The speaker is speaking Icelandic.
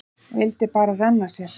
Vildi bara renna sér.